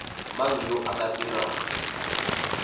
mang yo o ka dirang